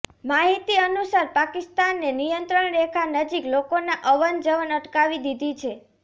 માહિતી અનુસાર પાકિસ્તાને નિયંત્રણ રેખા નજીક લોકોનાં અવન જવન અટકાવી દીધી છે